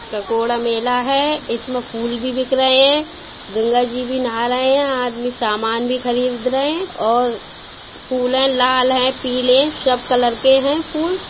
ककोडा मेला है इस में फूल भी बिक रहे हैं गंगा जी भी नाह रहे हैं आदमी सामान भी खरीद रहे हैं और फुल लाल हैं पीले हैं सब (सभी कलर के हैं फुल --